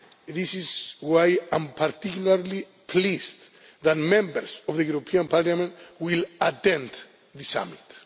This is why I am particularly pleased that Members of the European Parliament will attend the Summit.